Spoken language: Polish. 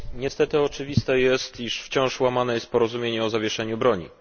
Niestety oczywiste jest, że wciąż łamane jest porozumienie o zawieszeniu broni.